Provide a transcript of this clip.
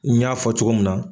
N y'a fɔ cogo min na.